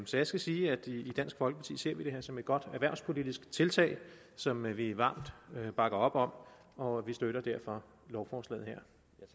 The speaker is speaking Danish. så jeg skal sige at i dansk folkeparti ser vi det her som et godt erhvervspolitisk tiltag som vi varmt bakker op om og vi støtter derfor lovforslaget her